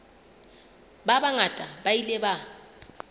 ba bangata ba ile ba